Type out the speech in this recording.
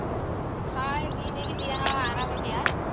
Hai ನೀನ್ ಹೇಗಿದ್ದೀಯ ಆರಾಮಿದ್ದೀಯಾ?